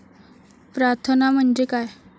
प्रार्थना म्हणजे काय?